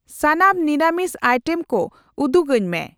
ᱥᱟᱱᱟᱢ ᱱᱤᱨᱟᱹᱢᱤᱥ ᱟᱭᱴᱮᱢ ᱠᱚ ᱩᱫᱩᱜᱟᱹᱧ ᱢᱮ ᱾